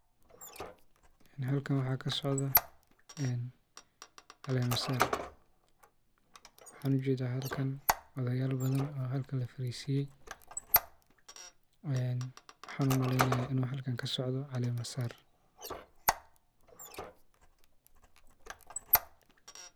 Halkan waxaa kasodo caleemasaar. waxaan ujedhaa halka odheyaal badhan oo halka lafariisiyey waxaan umaleyaa inuu halkan kasocdo caleemasaar.